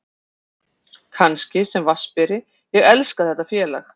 Kannski sem vatnsberi, ég elska þetta félag.